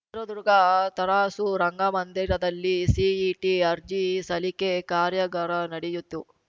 ಚಿತ್ರದುರ್ಗ ತರಾಸು ರಂಗಮಂದಿರದಲ್ಲಿ ಸಿಇಟಿ ಅರ್ಜಿ ಸಲ್ಲಿಕೆ ಕಾರ್ಯಾಗಾರ ನಡಯಿತು